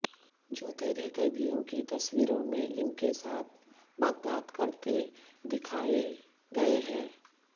جو تیرے قیدیوں کی تصویروں میں ان کے ساتھ بغداد کرتے دکھائےگئے ہے